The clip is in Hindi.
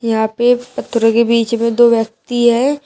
यहां पे पत्थरों के बीच में दो व्यक्ति है।